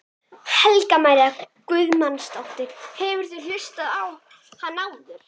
Helga María Guðmundsdóttir: Hefurðu hlustað á hann áður?